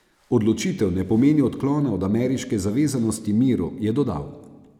Odločitev ne pomeni odklona od ameriške zavezanosti miru, je dodal.